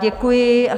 Děkuji.